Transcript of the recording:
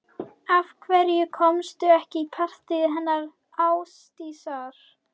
Af hverju komstu ekki í partíið hennar Ásdísar